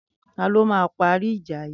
Tàló mà pàrí ijà yi?